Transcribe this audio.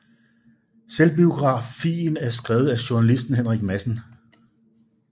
Selvbiografien er skrevet af journalisten Henrik Madsen